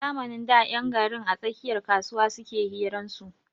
A zamanin da 'yan garin a tsakiyar kasuwa suke hiran su.